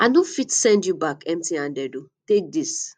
i no fit send you back emptyhanded o take this